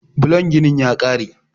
Blon ginin ya ƙare.